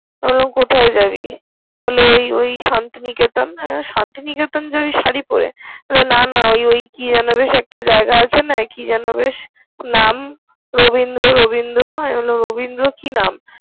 বললাম কোথায় যাবি? বললো ওই ওই শান্তি নিকেতন। বললাম শান্তি নিকেতন যাবি শাড়ি পরে? বললো না না ওই ওই কি যেন বেশ একটা জায়গা আছে না কি যেন বেশ নাম রবীন্দ্র রবীন্দ্র। আমি বললাম রবীন্দ্র কি নাম।